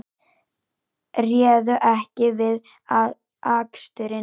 Réðu ekki við aksturinn